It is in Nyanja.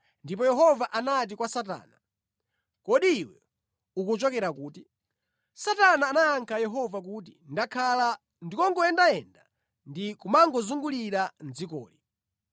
Ndipo Yehova anati kwa Satana, “Kodi iwe ukuchokera kuti?” Satana anayankha Yehova kuti, “Ndakhala ndikungoyendayenda ndi kumangozungulira mʼdzikoli.”